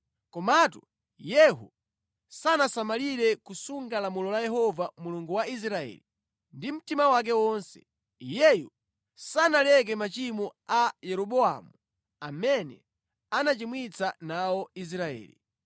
Komatu Yehu sanasamalire kusunga lamulo la Yehova Mulungu wa Israeli ndi mtima wake wonse. Iyeyo sanaleke machimo a Yeroboamu amene anachimwitsa nawo Israeli.